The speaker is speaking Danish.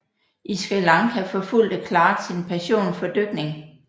I Sri Lanka forfulgte Clarke sin passion for dykning